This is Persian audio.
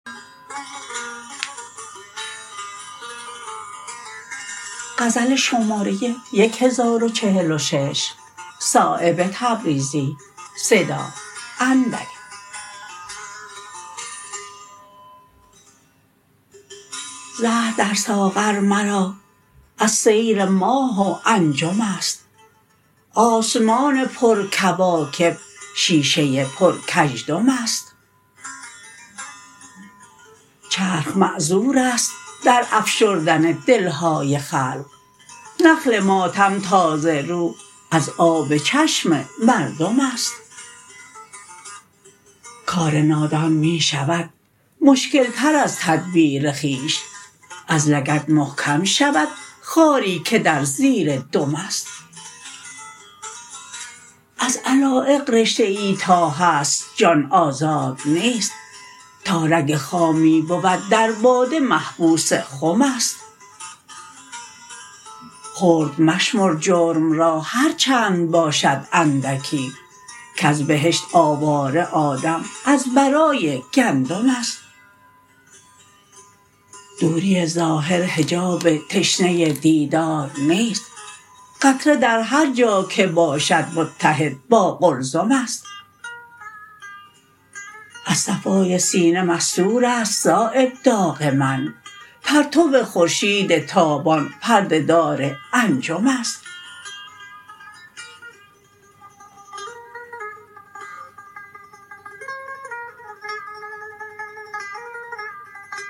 زهر در ساغر مرا از سیر ماه و انجم است آسمان پر کواکب شیشه پر کژدم است چرخ معذورست در افشردن دلهای خلق نخل ماتم تازه رو از آب چشم مردم است کار نادان می شود مشکل تر از تدبیر خویش از لگد محکم شود خاری که در زیر دم است از علایق رشته ای تا هست جان آزاد نیست تا رگ خامی بود در باده محبوس خم است خرد مشمر جرم را هر چند باشد اندکی کز بهشت آواره آدم از برای گندم است دوری ظاهر حجاب تشنه دیدار نیست قطره در هر جا که باشد متحد با قلزم است از صفای سینه مستورست صایب داغ من پرتو خورشید تابان پرده دار انجم است